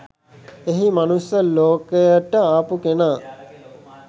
එහි මනුස්ස ලෝකයට ආපු කෙනා